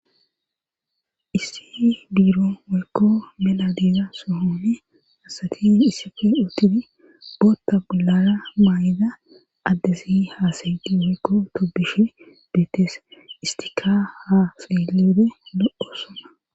issi biiro woykko bela diiza sohoone hasati issife utidi bootta bulara maa7ida addesi haasayiti woykko tobishe deettes istika haa seeeleede lo7o suma